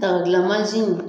dagadilanmansin